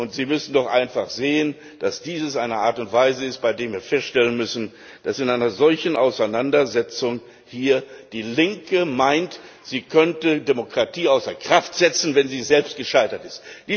Und Sie müssen doch einfach sehen, dass dies eine Art und Weise ist, bei der wir feststellen müssen, dass in einer solchen Auseinandersetzung hier die Linke meint, sie könnte Demokratie außer Kraft setzen, wenn sie selbst gescheitert ist.